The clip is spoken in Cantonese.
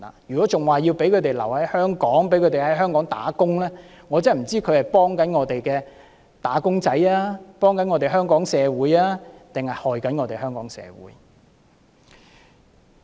如果仍要讓他們留在香港，讓他們在香港工作，我不知道這些同事是幫助香港的"打工仔"，幫助香港社會，抑或傷害香港社會。